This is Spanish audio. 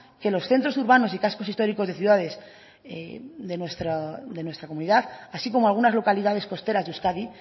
que los centros urbanos y cascos históricos de ciudades de nuestra comunidad así como algunas localidades costeras de euskadi